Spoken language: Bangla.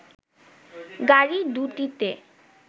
গাড়ি দু'টিতে